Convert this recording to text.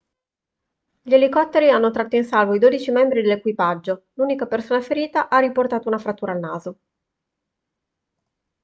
gli elicotteri hanno tratto in salvo i dodici membri dell'equipaggio l'unica persona ferita ha riportato una frattura al naso